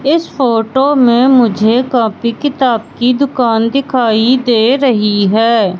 इस फोटो में मुझे कॉपी किताब की दुकान दिखाई दे रही है।